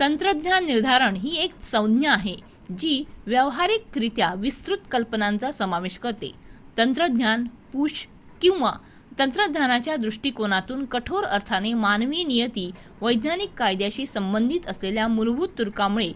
तंत्रज्ञान निर्धारण ही एक संज्ञा आहे जी व्यावहारिकरित्या विस्तृत कल्पनांचा समावेश करते तंत्रज्ञान-पुश किंवा तंत्रज्ञानाच्या दृष्टीकोनातून कठोर अर्थाने मानवी नियती वैज्ञानिक कायद्यांशी संबंधित असलेल्या मूलभूत तर्कामुळे